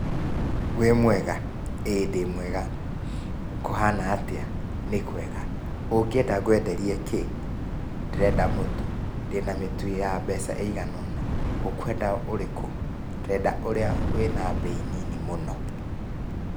Wĩ mwega? ĩ ndĩmwega. Kũhana atĩa? Nĩkwega. Ũngĩienda ngwenderie kĩ? Ndĩrenda mũtu. Ndĩna mĩtu ya mbeca ĩigana ũna. Ũkwenda ũrĩkũ? Ngwenda ũrĩa wĩ na mbei nini mũno.